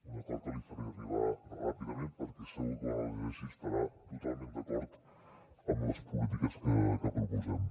un acord que li faré arribar ràpidament perquè segur que quan el llegeixi estarà totalment d’acord amb les polítiques que proposem